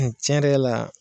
N tiɲɛ yɛrɛ la